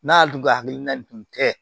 N'a dun ka hakilina dun tɛ